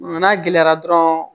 N'a gɛlɛyara dɔrɔn